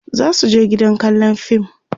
zasu je gidan kallan fim